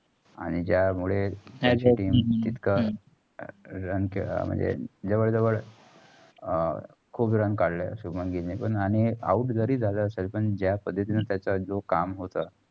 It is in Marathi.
आणि जामुळे match म्हणजे जवळ जवळ अह खूप run काढलं. शुभमन गिलने पण आणि out जरी जाला असेल तर पण जा पद्धतींनी त्याचा जो काम होता.